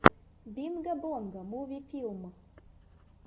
бинго бонго муви филм